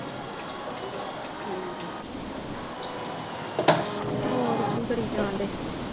ਹੋਰ ਕੀ ਕਰੀ ਜਾਣ ਡੇ